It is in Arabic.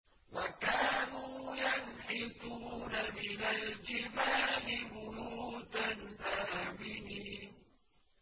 وَكَانُوا يَنْحِتُونَ مِنَ الْجِبَالِ بُيُوتًا آمِنِينَ